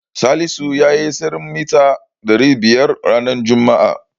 Salisu yayi tseren mita ɗari biyar ranar juma'a.